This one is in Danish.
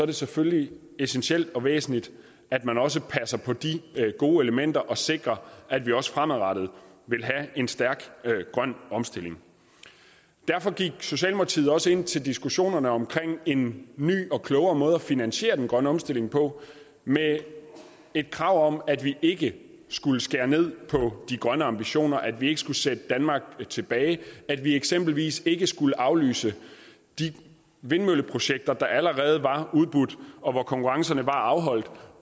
det selvfølgelig essentielt og væsentligt at man også passer på de gode elementer og sikrer at vi også fremadrettet vil have en stærk grøn omstilling derfor gik socialdemokratiet også ind til diskussionerne om en ny og klogere måde at finansiere den grønne omstilling på med et krav om at vi ikke skulle skære ned på de grønne ambitioner at vi ikke skulle sætte danmark tilbage at vi eksempelvis ikke skulle aflyse de vindmølleprojekter der allerede var udbudt og hvor konkurrencerne var afholdt